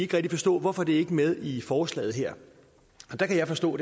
kan forstå hvorfor de ikke er med i forslaget her der kan jeg forstå